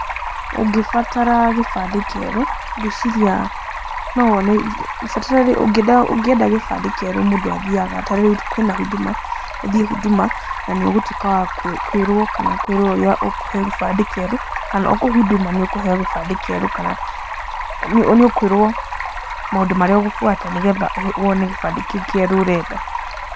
Ũngĩbatara gĩbandĩ kĩerũ, ngũĩciria no wone, ũngĩenda gĩbandĩ kĩerũ mũndũ athiaga tarĩu kwĩna Huduma, ũthiĩ Huduma na nĩ ũgũtuĩka wa kwĩrũo kana kwĩrũo ũrĩa ũkũheo gĩbandĩ kĩerũ kana o kũu Huduma nĩ ũkũheo gĩbandĩ kĩerũ kana nĩ ũkũĩrwo maũndũ marĩa ũgũbuata nĩ getha wone gĩbandĩ kĩu kĩerũ ũrenda.